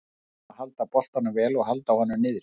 Við náðum að halda boltanum vel og halda honum niðri.